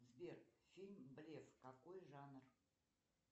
сбер фильм блеф какой жанр